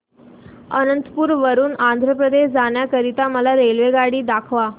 अनंतपुर वरून आंध्र प्रदेश जाण्या करीता मला रेल्वेगाडी दाखवा